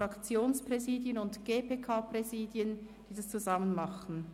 Fraktionspräsidien und GPK-Präsidium sollen es zusammen machen?